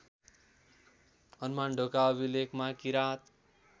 हनुमानढोका अभिलेखमा किराँत